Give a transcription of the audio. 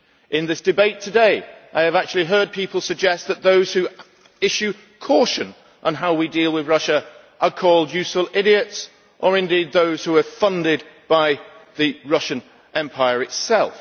In this debate today, I have actually heard people suggest that those who advise caution on how we deal with Russia are called idiots or indeed those who are funded by the Russian empire itself.